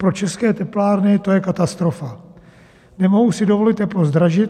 Pro české teplárny to je katastrofa, nemohou si dovolit teplo zdražit.